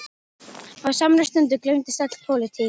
Á samri stundu gleymdist öll pólitík.